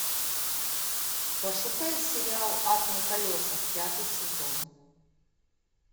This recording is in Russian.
пошукай сериал ад на колесах пятый сезон